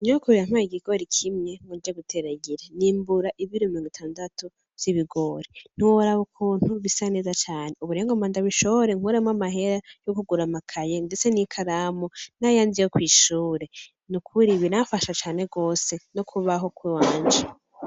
Nyokuru yampaye ikigori kimwe ngo nje guteragira, n'imbura ibiro mirongitandatu vy'ibigori, ntiworaba ukuntu bisa neza cane, ubu rero ngomba ndabishore nkuremwo amahera yokugura amakaye ndetse n'ikaramu n'ayandi yokw'ishure biramfasha cane gose nokubaho kw'iwaje.